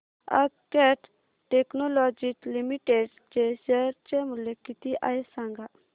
आज Cat Technologies Limited चे share चे मूल्य किती आहे सांगा